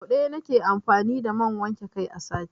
Sau ɗaya na ke amfani da man wanke kai a sati.